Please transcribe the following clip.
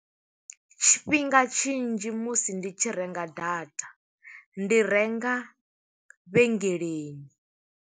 Tshifhinga tshinzhi musi ndi tshi renga data, ndi renga vhengeleni.